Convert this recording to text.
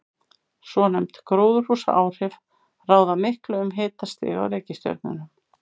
Svonefnd gróðurhúsaáhrif ráða miklu um hitastig á reikistjörnunum.